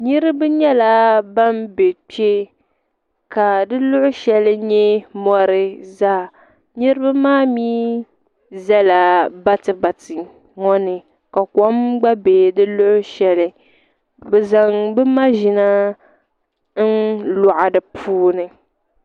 Niraba nyɛla ban bɛ kpɛ ka di luɣu shɛli nyɛ mori zaa niraba maa mii ʒɛla bati bati ŋo ni ka kom gba bɛ di luɣu shɛli bi zaŋ bi maʒina n loɣi di puuni